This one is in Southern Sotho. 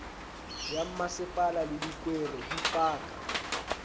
ya mmasepala le dikwere dipaka